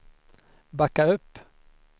backa upp